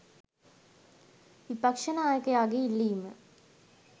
විපක්ෂ නායකයාගේ ඉල්ලීම